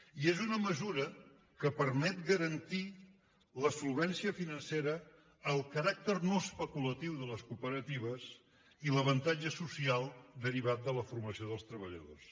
i és una mesura que permet garantir la solvència financera el caràcter no especulatiu de les cooperatives i l’avantatge social derivat de la formació dels treballadors